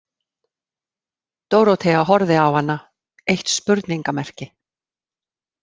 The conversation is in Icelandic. Dórótea horfði á hana eitt spurningamerki.